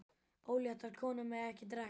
Óléttar konur mega ekki drekka.